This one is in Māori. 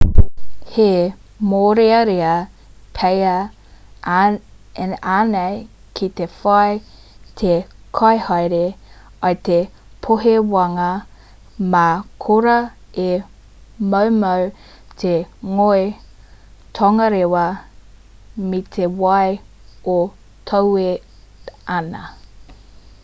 he mōrearea pea ēnei ki te whai te kaihaere i te pōhewanga mā korā e moumou te ngoi tongarewa me te wai e toe ana